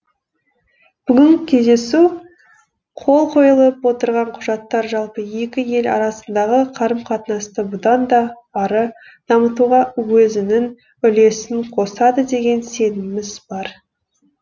бүгінгі кездесу қол қойылып отырған құжаттар жалпы екі ел арасындағы қарым қатынасты бұдан да ары дамытуға өзінің үлесін қосады деген сеніміміз бар